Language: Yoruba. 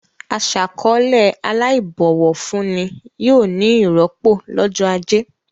Aṣàkọ̀ọ́lẹ̀ aláìbọ̀wọ̀ fún ni yóò ní ìrọ́pò lọ́jọ́ ajé.